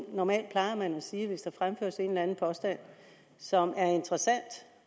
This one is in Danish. normalt plejer man at sige at hvis der fremføres en eller anden påstand som er interessant